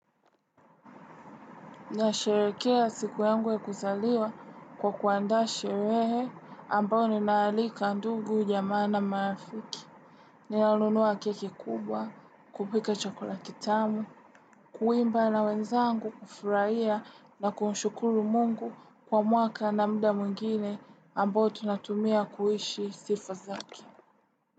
Nasherehekea siku yangu ya kuzaliwa kwa kuandaa sherehe ambayo ninaalika ndugu jamaa na marafiki. Ninaununua keki kubwa, kupika chakula kitamu, kuimba na wenzangu kufurahia na kumshukuru mungu kwa mwaka na muda mwingine ambayo tunatumia kuishi sifa zake.